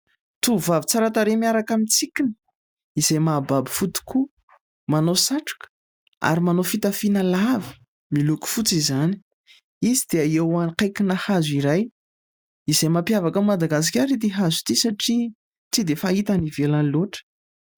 Tovovavy tsara tarehy miaraka amin'ny tsikiny, izay mahababo fo tokoa! Manao satroka, ary manao fitafiana lava (miloko fotsy izany). Izy dia eo ankaiki-na hazo iray, izay mampiavaka an'i Madagasikara ity hazo ity satria tsy dia fahita any ivelany loatra.